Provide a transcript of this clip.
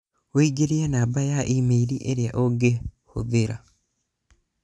ũingĩrie namba ya e-mail ĩrĩa ũngĩhũthĩra